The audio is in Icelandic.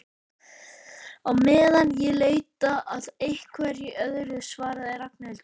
Á meðan ég leita að einhverju öðru svaraði Ragnhildur.